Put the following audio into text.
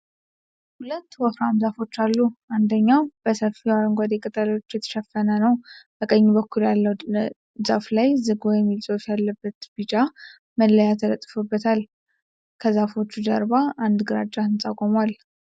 ሁለት ወፍራም ዛፎች አሉ። አንደኛው በሰፊው አረንጓዴ ቅጠሎች የተሸፈነ ነው። በቀኝ በኩል ያለው ዛፍ ላይ "ዝግባ" የሚል ጽሑፍ ያለበት ቢጫ መለያ ተለጥፏል። ከዛፎቹ ጀርባ አንድ ግራጫ ሕንፃ ቁሟል።